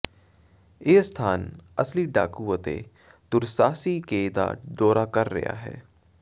ਇਹ ਸਥਾਨ ਅਸਲੀ ਡਾਕੂ ਅਤੇ ਦੁਰਸਾਹਸੀ ਕੇ ਦਾ ਦੌਰਾ ਕਰ ਰਿਹਾ ਹੈ